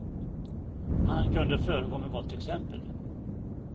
Han kunde föregå med gott exempel.